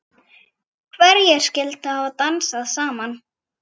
Hverjir skyldu hafa dansað saman?